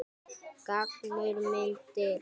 Gangur undir hesti.